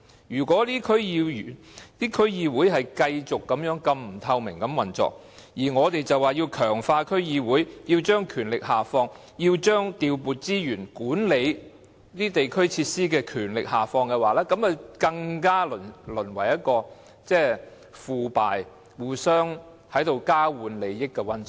如果區議會的運作繼續如此不透明，還說要強化區議會，要將權力下放，要將調撥資源和管理地區設施的權力下放，這樣只會令區議會更為腐敗，淪為交換利益的溫床。